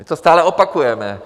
My to stále opakujeme.